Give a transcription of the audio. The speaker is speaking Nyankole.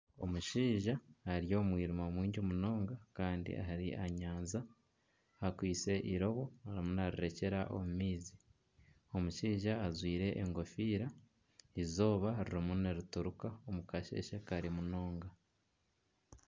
Omushaija ari omu mwirima mwingi munonga kandi ari aha nyanja akwaitse irobo arimu narirekyera omu maizi . Omushaija ajwire engofiira eizooba ririmu nirituruka omu kasheshe kare munonga.